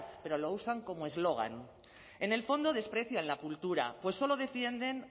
pero lo usan como eslogan en el fondo desprecian la cultura pues solo defienden